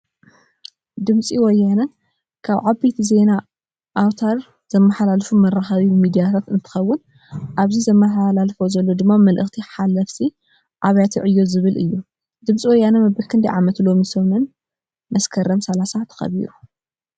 ድምፂ ወያነ ካብ ዓበይቲ ዜና ኣውትር ዘማሓላልፉ መራኪ ሚድያታት እንትከውን ኣብዚ ዘለመሓለልፎ ዘሎ ድማ መልእክቲ ሓለፍቲ ኣብያተ ዕዮ ዝብል እዩ። ድምፂ ወያነ መበል ክንዳይ ዓመቱ ሎሚ ሰመን መስከርም 30 ተከቢሩ ?